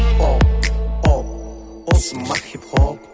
о о осы ма хип хоп